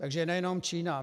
Takže nejenom Čína.